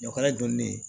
Ɲɔk'a jɔlen